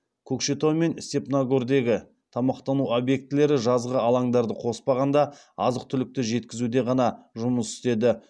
көкшетау мен степногордегі тамақтану объектілері жазғы алаңдарды қоспағанда азық түлікті жеткізуде ғана жұмыс істеді